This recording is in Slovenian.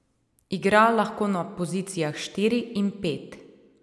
Igra lahko na pozicijah štiri in pet.